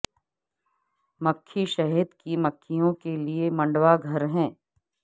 مکھی شہد کی مکھیوں کے لئے منڈوا گھر ہیں